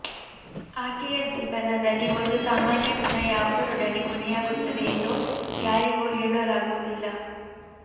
ಆಕೆಯ ಜೀವನದಲ್ಲಿ ಒಂದು ಸಾಮಾನ್ಯ ದಿನ ಯಾವುದರೊಡನೆ ಕೊನೆಯಾಗುತ್ತದೆ ಎಂದು ಯಾರಿಗೂ ಹೇಳಲಾಗುವುದಿಲ್ಲ